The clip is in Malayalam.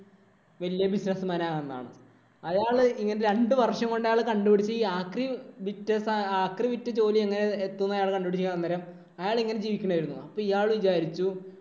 വല്യ business man ആകാമെന്ന്. അയാള് ഇങ്ങനെ രണ്ടു വര്‍ഷം കൊണ്ട് അയാള് കണ്ടുപിടിച്ചു ഈ ആക്രി വിറ്റ് ആക്രി വിറ്റ് ജോലി എങ്ങനെ എത്തും എന്ന് കണ്ടുപിടിക്കുകയും അന്നേരം അയാള് എങ്ങനെ ജീവിക്കണം ആരുന്നു. അപ്പൊ ഇയാള്‍ വിചാരിച്ചു